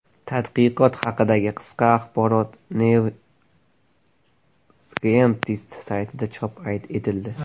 Tadqiqot haqidagi qisqa axborot New Scientist saytida chop etildi .